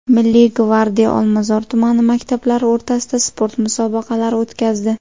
Milliy gvardiya Olmazor tumani maktablari o‘rtasida sport musobaqalari o‘tkazdi.